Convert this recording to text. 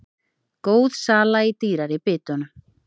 Góð sala í dýrari bitunum